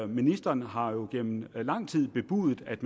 ministeren har jo gennem lang tid bebudet at